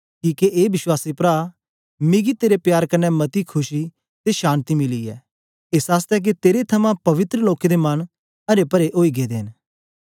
किके ए विश्वासी प्रा मिकी तेरे प्यार कन्ने मती खुशी ते शान्ति मिली ऐ एस आसतै के तेरे थमां पवित्र लोकें दे मन अरे परे ओई गेदे न